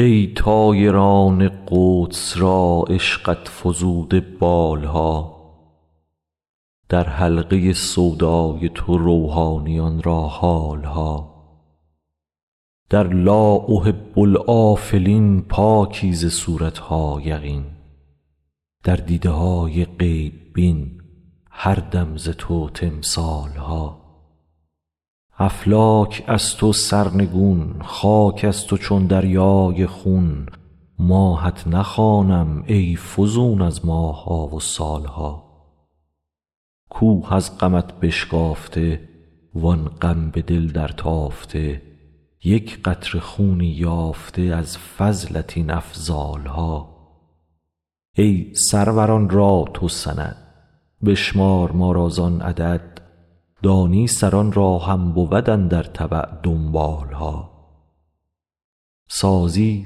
ای طایران قدس را عشقت فزوده بال ها در حلقه سودای تو روحانیان را حال ها در لا احب الآفلین پاکی ز صورت ها یقین در دیده های غیب بین هر دم ز تو تمثال ها افلاک از تو سرنگون خاک از تو چون دریای خون ماهت نخوانم ای فزون از ماه ها و سال ها کوه از غمت بشکافته وان غم به دل درتافته یک قطره خونی یافته از فضلت این افضال ها ای سروران را تو سند بشمار ما را زان عدد دانی سران را هم بود اندر تبع دنبال ها سازی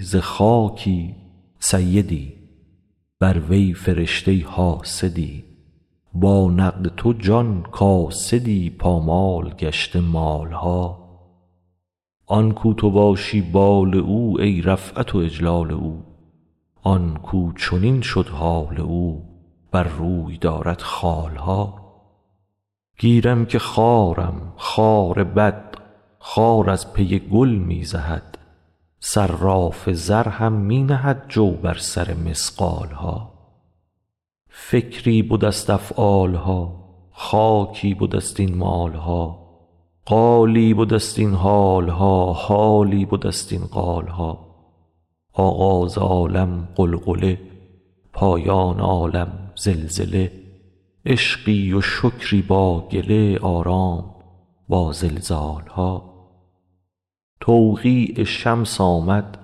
ز خاکی سیدی بر وی فرشته حاسدی با نقد تو جان کاسدی پامال گشته مال ها آن کاو تو باشی بال او ای رفعت و اجلال او آن کاو چنین شد حال او بر روی دارد خال ها گیرم که خارم خار بد خار از پی گل می زهد صراف زر هم می نهد جو بر سر مثقال ها فکری بده ست افعال ها خاکی بده ست این مال ها قالی بده ست این حال ها حالی بده ست این قال ها آغاز عالم غلغله پایان عالم زلزله عشقی و شکری با گله آرام با زلزال ها توقیع شمس آمد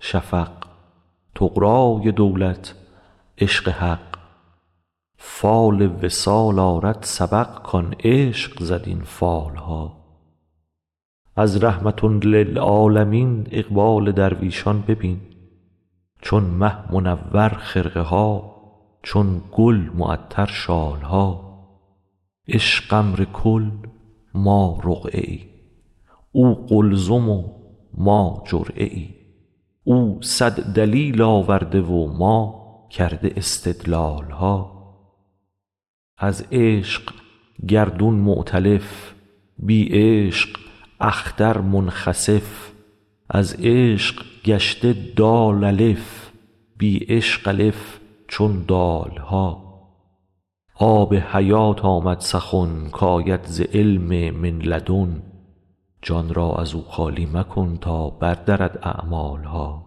شفق طغرای دولت عشق حق فال وصال آرد سبق کان عشق زد این فال ها از رحمة للعالمین اقبال درویشان ببین چون مه منور خرقه ها چون گل معطر شال ها عشق امر کل ما رقعه ای او قلزم و ما جرعه ای او صد دلیل آورده و ما کرده استدلال ها از عشق گردون مؤتلف بی عشق اختر منخسف از عشق گشته دال الف بی عشق الف چون دال ها آب حیات آمد سخن کاید ز علم من لدن جان را از او خالی مکن تا بر دهد اعمال ها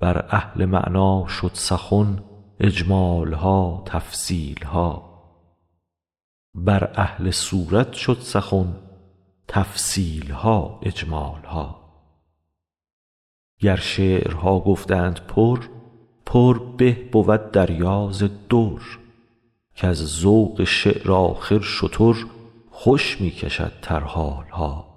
بر اهل معنی شد سخن اجمال ها تفصیل ها بر اهل صورت شد سخن تفصیل ها اجمال ها گر شعرها گفتند پر پر به بود دریا ز در کز ذوق شعر آخر شتر خوش می کشد ترحال ها